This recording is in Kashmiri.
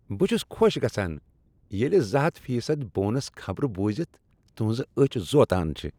بہٕ چُھس خوش گژھان ییلِہ زٕ ہتھ فی صد بونس خبر بوزِتھ تِہنزٕ أچِھ زوتان چِھےٚ